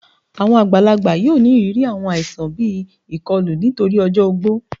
Àwọn àgbàlágbà yóò ní ìrírí àwọn àìsàn bí ikọlù nítorí ọjọ ògbó